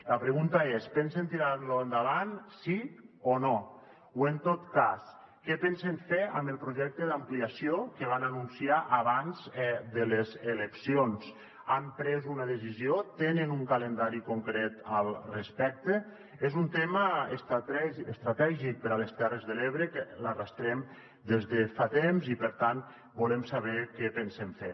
la pregunta és pensen tirar lo endavant sí o no o en tot cas què pensen fer amb el projecte d’ampliació que van anunciar abans de les eleccions han pres una decisió tenen un calendari concret al respecte és un tema estratègic per a les terres de l’ebre que arrosseguem des de fa temps i per tant volem saber què pensen fer